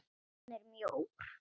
Hann er mjór.